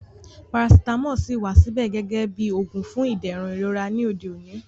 Parasitamọ ṣíì wà síbẹ̀ gẹ́gẹ́ bí oògùn fún ìdẹ̀rùn ìrora ní òde òní